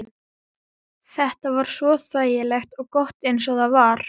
Þetta var svo þægilegt og gott eins og það var.